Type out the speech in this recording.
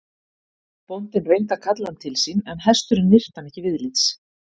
Bóndinn reyndi að kalla hann til sín en hesturinn virti hann ekki viðlits.